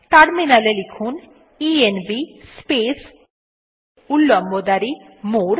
terminal এ লিখুন ENV space উল্লম্ব দাঁড়ি মোরে